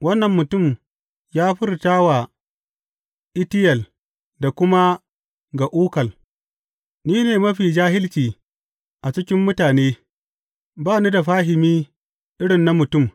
Wannan mutum ya furta wa Itiyel da kuma ga Ukal, Ni ne mafi jahilci a cikin mutane; ba ni da fahimi irin na mutum.